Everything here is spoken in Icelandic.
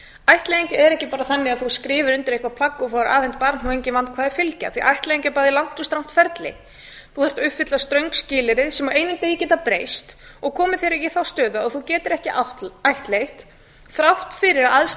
ættleiðing er ekki bara þannig að þú skrifir undir eitthvert plagg og fáir afhent barn og engin vandkvæði fylgja því ættleiðing er bæði langt og strangt ferli þú þarft að uppfylla ströng skilyrði sem á einum degi geta breyst og komið þér í þá stöðu að þú getir ekki ættleitt þrátt fyrir að